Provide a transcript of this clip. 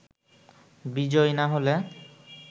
বিজয়ী না হলে